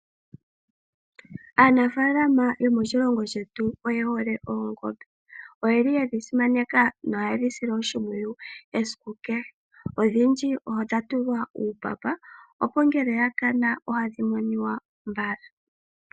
Aanafaalama yomoshilongo shetu oye hole oongombe. Oyeli yedhi simaneka noha yedhisile oshimpwuyu esiku kehe. Odhindji odha tulwa uupapa opo ngele oya kana ohadhi monika mbala.